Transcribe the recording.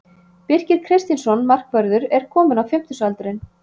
Birkir Kristinsson markvörður er kominn á fimmtugsaldurinn.